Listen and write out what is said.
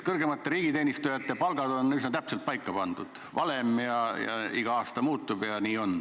Kõrgemate riigiteenistujate palgad on üsna täpselt paika pandud, on valem ja palk iga aasta muutub.